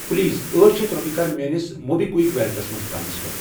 Please أٹھ شیتھ رۄپیہِ کر میٲنِس موبی کُوِک ویلٹس مَنٛز ٹرانسفر۔